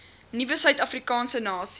nuwe suidafrikaanse nasie